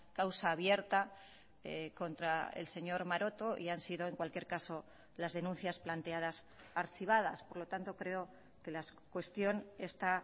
causa abierta contra el señor maroto y han sido en cualquier caso las denuncias planteadas archivadas por lo tanto creo que la cuestión está